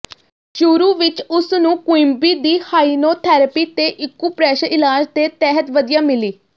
ਸ਼ੁਰੂ ਵਿਚ ਉਸ ਨੂੰ ਕੁਇਮਬੀ ਦੀ ਹਾਈਨੋਥੈਰੇਪੀ ਅਤੇ ਇਕੁਪਰੇਸ਼ਰ ਇਲਾਜ ਦੇ ਤਹਿਤ ਵਧੀਆ ਮਿਲੀ